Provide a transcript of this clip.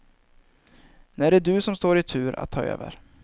Nu är det du som står i tur att ta över.